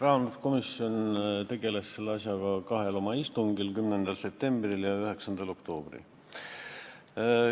Rahanduskomisjon tegeles selle asjaga kahel istungil: 10. septembril ja 9. oktoobril.